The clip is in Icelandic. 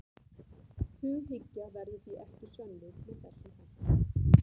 Hughyggja verður því ekki sönnuð með þessum hætti.